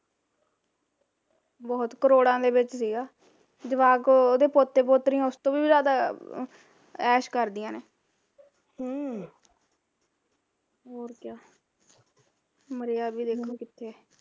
ਬਹੁਤ, ਕਰੋੜਾਂ ਦੇ ਵਿੱਚ ਸੀਗਾ ਜਵਾਕ ਉਹਦੇ ਪੋਤੇ ਪੋਤਰੀਆ ਓਸ ਤੋਂ ਵੀ ਜਿਆਦਾ ਐਸ਼ ਕਰਦੀਆ ਨੇ ਹਮ ਹੋਰ ਕਿਆ ਮਰਿਆ ਵੀ ਦੇਖਲੋ ਕਿੱਥੇ ਐ